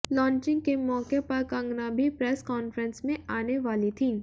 launching के मौके पर कंगना भी प्रेस कॉन्फ्रेंस में आने वाली थीं